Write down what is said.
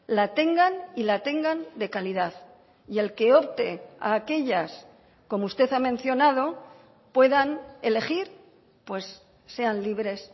la tengan y la tengan de calidad y el que opte a aquellas como usted ha mencionado puedan elegir pues sean libres